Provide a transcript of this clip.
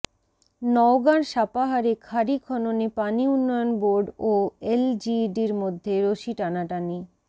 নওগাঁর সাপাহারে খাড়ী খননে পানি উন্নয়ন বোর্ড ও এলজিইডির মধ্যে রশি টানাটানি